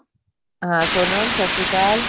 ਹਾਂ ਸੋਨਮ ਸਤਿ ਸ਼੍ਰੀ ਅਕਾਲ